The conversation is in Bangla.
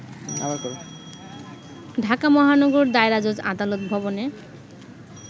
ঢাকা মহানগর দায়রা জজ আদালত ভবনে